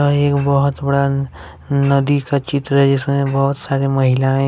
एक बहुत बड़ा नदी का चित्र जिसमें बहुत सारे महिलाएं--